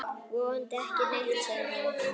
Vonandi ekki neitt, sagði hún.